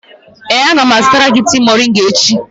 Ee, a ga m azụtara gị tea moringa echi.